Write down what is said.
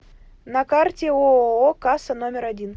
на карте ооо касса номер один